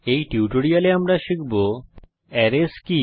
এই টিউটোরিয়ালে আমরা শিখব অ্যারেস কি